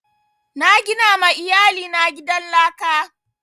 Na gina ma iyali na gidan laka